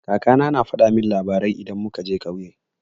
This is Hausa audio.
Kaka na na faɗa min labarai idan muka je ƙauye.